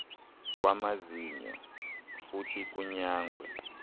kwamazinyo futhi kunyangwe